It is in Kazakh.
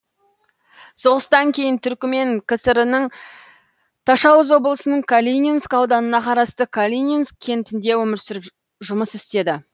соғыстан кейін түрікмен кср ның ташауз облысының калининск ауданына қарасты калининск кентінде өмір сүріп жұмыс істеді